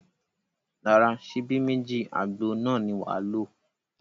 Rárá, ṣíbí méjì àgbo náà ni wàá lò